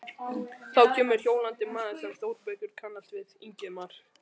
Þá kemur hjólandi maður sem Þórbergur kannast við, Ingimar